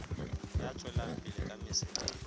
ya tswelang pele ka mosebetsi